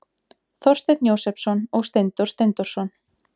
Þorsteinn Jósepsson og Steindór Steindórsson.